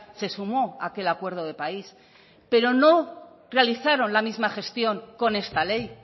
se sumó a aquel acuerdo de país pero no realizaron la misma gestión con esta ley